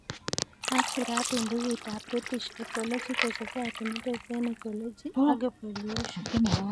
Ako sirat eng' bukuit ab British Ecological Society - Methods eng' Ecology ak Evolution (MEE)